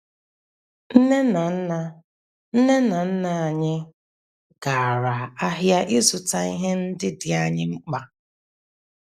Nne na nna Nne na nna anyị gara ahịa ịzụta ihe ndị dị anyị mkpa.